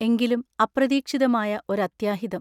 എങ്കിലും അപ്രതീക്ഷിതമായ ഒരത്യാഹിതം.